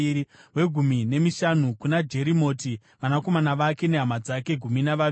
wegumi nemishanu kuna Jerimoti, vanakomana vake nehama dzake—gumi navaviri;